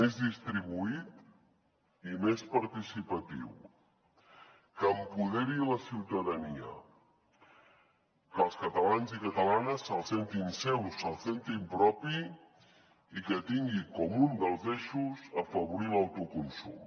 més distribuït i més participatiu que empoderi la ciutadania que els catalans i catalanes se’l sentin seu se’l sentin propi i que tingui com un dels eixos afavorir l’autoconsum